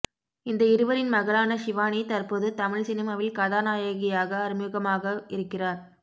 இந்த இருவரின் மகளான ஷிவானி தற்போது தமிழ் சினிமாவில் கதாநாயகியாக அறிமுகமாக இருக்கிறார்